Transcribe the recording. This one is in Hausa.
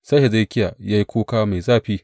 Sai Hezekiya ya yi kuka mai zafi.